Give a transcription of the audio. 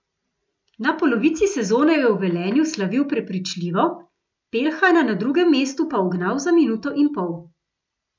Na polovici sezone je v Velenju slavil prepričljivo, Peljhana na drugem mestu pa ugnal za minuto in pol.